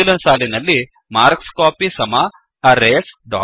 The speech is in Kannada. ಮುಂದಿನ ಸಾಲಿನಲ್ಲಿ ಮಾರ್ಕ್ಸ್ಕೋಪಿ ಅರೇಸ್